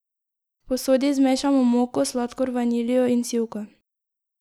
V posodi zmešamo moko, sladkor, vaniljo in sivko.